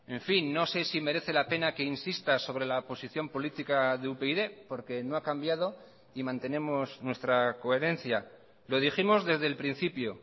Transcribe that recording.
en fin no sé si merece la pena que insista sobre la posición política de upyd porque no ha cambiado y mantenemos nuestra coherencia lo dijimos desde el principio